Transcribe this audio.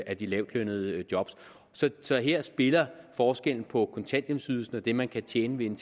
af de lavtlønnede job så her spiller forskellen på kontanthjælpsydelsen og det man kan tjene ved en